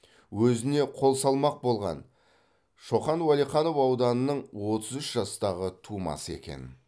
өзіне қол салмақ болған шоқан уәлиханов ауданының отыз үш жастағы тумасы екен